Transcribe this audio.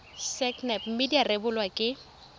sacnap mme tsa rebolwa ke